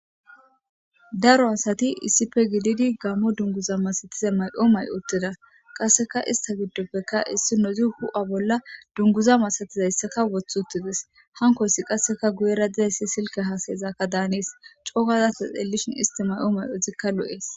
Daro asati issife gididi gammo dunguza masatiza mayo mayi uttida. Qasseka ista giddoppeka issinnozi hu7a bolla dunguza masatizayssaka wothI uttides. Hankoyssi qasseka guyera dizayssi silke haasayezakka daanees coo gaza ta xellishin isti may7o may7ozikka lo7ees.